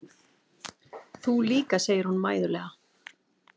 Þú líka, segir hún mæðulega.